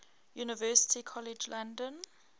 university college london